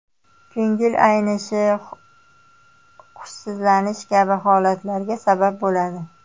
Ko‘ngil aynishi, hushsizlanish kabi holatlarga sabab bo‘ladi.